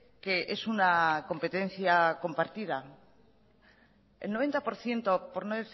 que es una competencia compartida el noventa por ciento por no